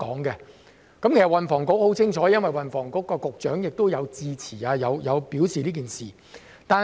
運輸及房屋局對此十分清楚，因為運輸及房屋局局長曾就此事致辭。